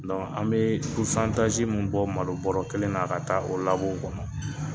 an be min bɔ malo bɔrɔ kelen na ka taa o kɔnɔ.